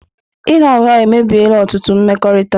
Ịgha ụgha emebiela ọtụtụ mmekọrịta.